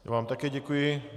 Já vám také děkuji.